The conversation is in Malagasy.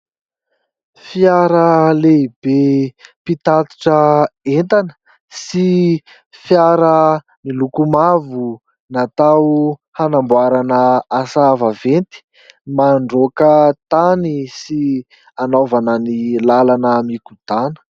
Fiara lehibe mpitatitra entana sy fiara miloko mavo natao hanamboarana asa vaventy, mandroaka tany sy hanaovana ny lalana mikodana.